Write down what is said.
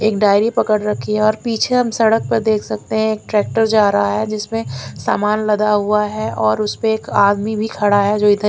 एक डायरी पकड़ रखी है और पीछे हम सड़क पर देख सकते हैं एक ट्रैक्टर जा रहा है जिसमें सामान लगा हुआ है और उसे पर एक आदमी भी खड़ा है जो इधर--